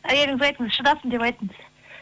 әйеліңізге айтыңыз шыдасын деп айтыңыз